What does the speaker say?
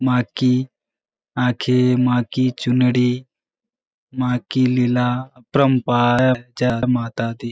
माँ की आँखे माँ की चुनरी माँ की लीला अपरंपार है। जय माता दी।